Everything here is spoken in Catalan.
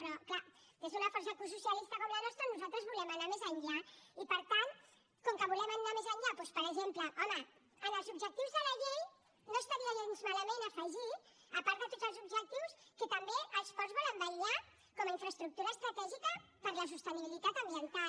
però és clar des d’una força ecosocialista com la nostra nosaltres volem anar més enllà i per tant com que volem anar més enllà doncs per exemple home en els objectius de la llei no estaria gens malament afegir a part de tots els objectius que també els ports volen vetllar com a infraestructura estratègica per la sostenibilitat ambiental